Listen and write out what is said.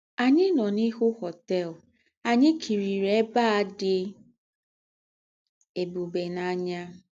Ànyì nọ́ n’íhú họ́tèl ànyì kírie ébè à dị́ ébùbè n’ànyà.